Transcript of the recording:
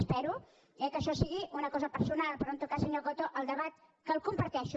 espero que això sigui una cosa personal però en tot cas senyor coto el debat que el comparteixo